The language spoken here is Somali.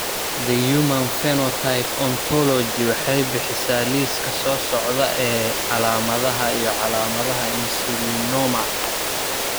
The Human Phenotype Ontology waxay bixisaa liiska soo socda ee calaamadaha iyo calaamadaha Insulinoma.